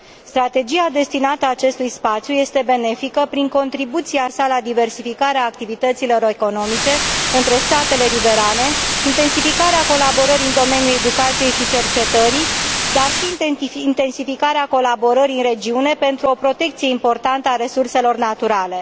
Strategia destinată acestui spațiu este benefică prin contribuția sa la diversificarea activităților economice între statele riverane, intensificarea colaborării în domeniul educației și cercetării, dar și intensificarea colaborării în regiune, pentru o protecție importantă a resurselor naturale.